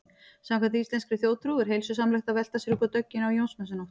Samkvæmt íslenskri þjóðtrú er heilsusamlegt að velta sér upp úr dögginni á Jónsmessunótt.